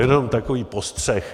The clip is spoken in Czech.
Jenom takový postřeh.